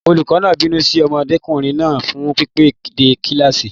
Olùkọ́ náà ń bínú sí ọmọdékùnrin náà fún pípẹ́ dé kíláàsì.